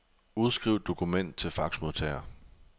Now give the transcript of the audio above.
Udskriv dokument til faxmodtager.